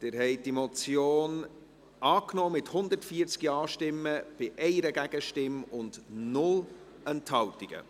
Sie haben diese Motion angenommen, mit 140 Ja- gegen 1 Nein-Stimme bei 0 Enthaltungen.